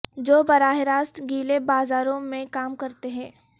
جو براہ راست گیلے بازاروں میں کام کرتے ہیں